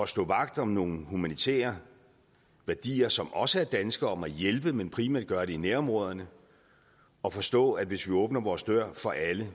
stå vagt om nogle humanitære værdier som også er danske om at hjælpe men primært gøre det i nærområderne og forstå at hvis vi åbner vores dør for alle